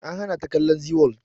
An hana ta kallon zee world